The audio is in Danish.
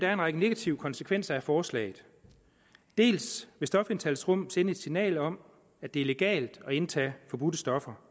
er en række negative konsekvenser af forslaget dels vil stofindtagelsesrum sende et signal om at det er legalt at indtage forbudte stoffer